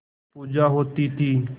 पूजा होती थी